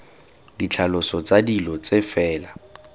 ditlhaloso tsa dilo tse fela